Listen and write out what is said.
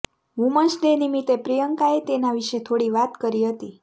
women's day નિમિતે પ્રિયંકાએ તેના વિશે થોડી વાત કરી હતી